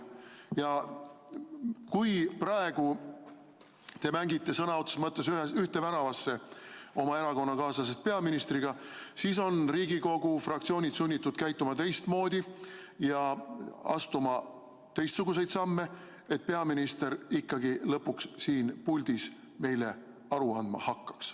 Ja kui te praegu mängite sõna otseses mõttes ühte väravasse oma erakonnakaaslasest peaministriga, siis on Riigikogu fraktsioonid sunnitud käituma teistmoodi ja astuma teistsuguseid samme, et peaminister ikkagi lõpuks siin puldis meile aru andma hakkaks.